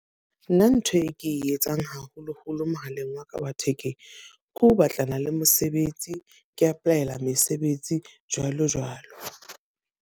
Nna ntho e ke e etsang haholo-holo mohaleng wa ka wa thekeng. Ke ho batlana le mosebetsi. Ke apply-ela mesebetsi jwalo jwalo.